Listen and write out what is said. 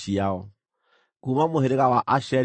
Kuuma mũhĩrĩga wa Asheri maarĩ andũ 41,500.